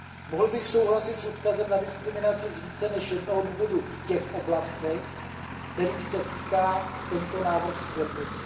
Mohl bych souhlasit s odkazem na diskriminaci z více než jednoho důvodu v těch oblastech, kterých se týká tento návrh směrnice.